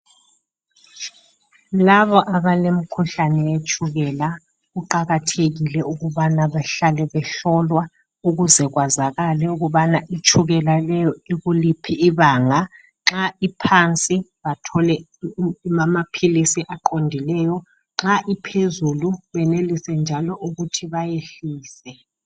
Labo abalemkhuhlane yetshukela, kuqakathekile ukubana bahlale behlolwa ukuze kwazakale ukubana itshukela leyo ikuliphi ibanga. Nxa iphansi bathole amaphilisi aqondileyo, nxa iphezulu benelisenjalo ukuthi bayehlise.